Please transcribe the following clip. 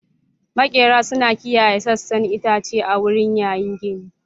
Maƙera suna kiyaye sassan itace a wurin yayin gini.